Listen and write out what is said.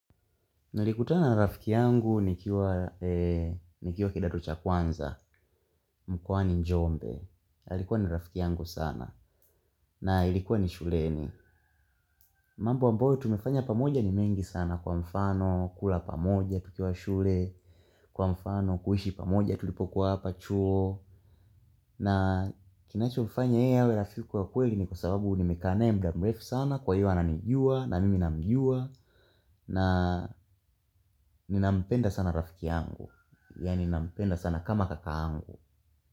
Nalikutana na rafiki yangu nikiwa nikiwa kidato cha kwanza, mkwani njombe, alikuwa ni rafiki yangu sana, na ilikuwa ni shuleni. Mambu ambayo tumefanya pamoja ni mengi sana kwa mfano, kula pamoja, tukiwa shule, kwa mfano, kuishi pamoja, tulipokuwa hapa, chuo. Na kinacho mfanya yeye awe rafiki wa kweli ni kwa sababu nimekaa naye muda mrefu sana, kwa hio ananijua, na mimi namjua, na ninampenda sana rafiki yangu. Yaani nampenda sana kama kakaangu.